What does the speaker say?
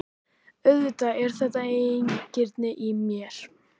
Auðvitað er þetta eigingirni í mér.